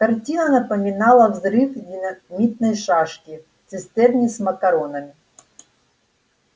картина напоминала взрыв динамитной шашки в цистерне с макаронами